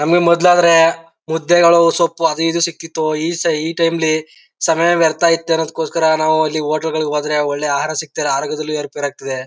ನಮಗೆ ಮೊದಲು ಆದ್ರೆ ಮುದ್ದೆಗಳು ಸೊಪ್ಪು ಅದು ಇದು ಸಿಗ್ತಿತು. ಈ ಟೈಮ್ ಲಿ ಸಮಯ ವ್ಯರ್ತ ಇತ್ತು ಅನೂಕಗೋಸ್ಕರ ನಾವು ಅಲ್ಲಿ ಹೋಟೆಲ್ ಗಳಿಗೆ ಹೋದ್ರೆ ಒಳ್ಳೆ ಆಹಾರಸಿಗ್ತಿಳ ಅರೋಗ್ಯದಲ್ಲೂ ಎರುಪೇರು ಆಗ್ತಿದೆ.